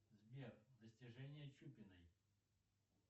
сбер достижения чупиной